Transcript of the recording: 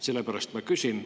Sellepärast ma küsin.